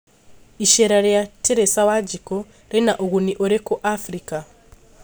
icera ria Teresa Wanjiku rĩna ũgũni ũrĩku Afrika?